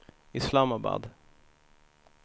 Islamabad